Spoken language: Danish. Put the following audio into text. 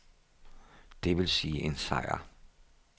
Det vil sige en sejr.